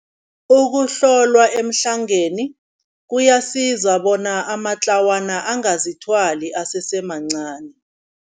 Ukuhlolwa emhlangeni kuyasiza bona amatlawana angazithwali asesemncani.